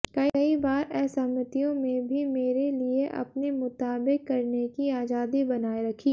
कई बार असहमतियों में भी मेरे लिए अपने मुताबिक करने की आजादी बनाए रखी